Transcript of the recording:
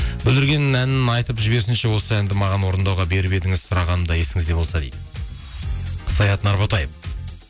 бүлдірген әнін айтып жіберсінші осы әнді маған орындауға беріп едіңіз сұрағанымда есіңізде болса дейді саят нарботаев